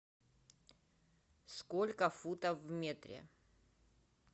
сколько футов в метре